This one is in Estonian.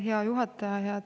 Hea juhataja!